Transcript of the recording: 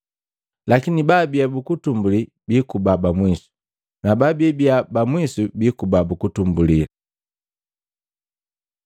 Lakini baabia buutumbulii biikuba ba mwisu, na baabi ba mwisu biikuba buutumbulii.”